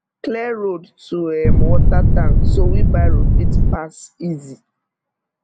clear road to um water tank so wheelbarrow fit pass easy